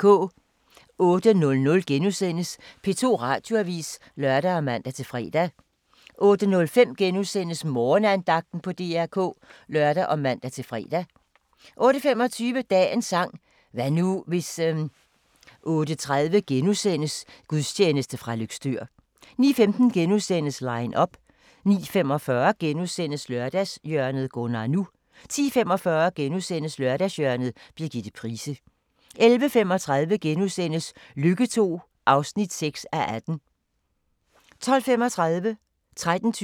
08:00: P2 Radioavis *(lør og man-fre) 08:05: Morgenandagten på DR K *(lør og man-fre) 08:25: Dagens sang: Hvad nu, hvis 08:30: Gudstjeneste fra Løgstør * 09:15: Line up * 09:45: Lørdagshjørnet - Gunnar NU * 10:45: Lørdagshjørnet – Birgitte Price * 11:35: Lykke II (6:18)* 12:35: aHA! 13:20: aHA!